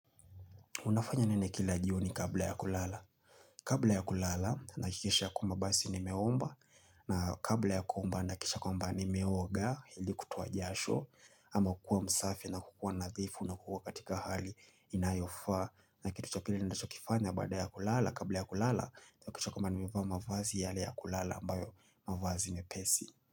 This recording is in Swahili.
Unafanya nene kila jioni ni kabla ya kulala? Kabla ya kulala nahakikisha kwamba basi nimeomba na kabla ya kuomba nahakikisha kwamba nimeoga hili kutoa jasho ama kukua msafi na kukua nathifu na kukua katika hali inayofa na kitu cha pili ninachokifanya bada ya kulala kabla ya kulala Nahakikisha kwamba nimevaa mavazi yale ya kulala ambayo mavazi mepesi.